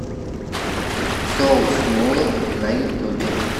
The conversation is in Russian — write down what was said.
сосмула на ютубе